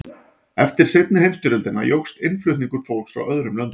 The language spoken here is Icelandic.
eftir seinni heimsstyrjöldina jókst innflutningur fólks frá öðrum löndum